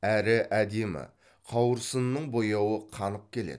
әрі әдемі қауырсынының бояуы қанық келеді